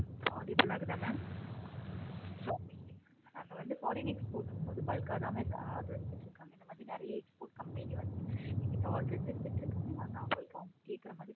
audible ஆஹ் இருக்குதா mam நாங்க வந்து foreign export போகும் போது bulk ஆஹ் தான் order சொல்லிருக்காங்க. இந்த மாதிரி நெறைய export company வந்து எங்கட order எடுத்துட்டு இருக்காங்க. நாங்க அவங்களுக்கு கேட்குற மாதிரி